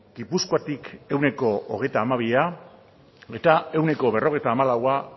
gipuzkoatik ehuneko hogeita hamabia eta ehuneko berrogeita hamalaua